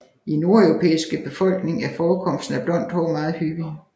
I nordeuropæiske befolkninger er forekomsten af blondt hår meget hyppig